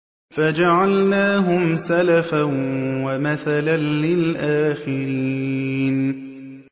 فَجَعَلْنَاهُمْ سَلَفًا وَمَثَلًا لِّلْآخِرِينَ